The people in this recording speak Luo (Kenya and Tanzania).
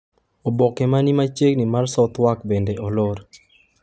Oboke ma ni machiegni mar Southwark bende olor.